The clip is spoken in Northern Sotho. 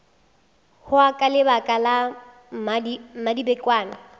hwa ka lebaka la mmadibekwane